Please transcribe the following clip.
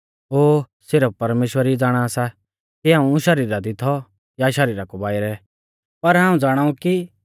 ओ सिरफ परमेश्‍वर ई ज़ाणा सा कि हाऊं शरीरा दी थौ या शरीरा कु बाइरै पर हाऊं ज़ाणाऊ